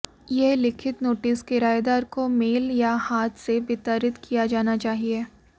यह लिखित नोटिस किरायेदार को मेल या हाथ से वितरित किया जाना चाहिए